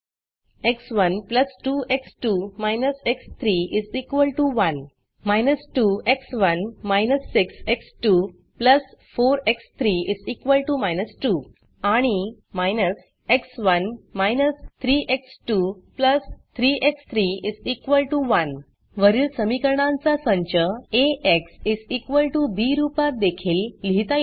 एक्स1 2 x two − x three 1 −2 x one − 6 x two 4 x three −2 आणि − x one − 3 x two 3 x three 1 वरील समीकरणांचा संच एक्स बी रूपात देखील लिहिता येतो